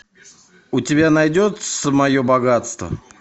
у тебя найдется мое богатство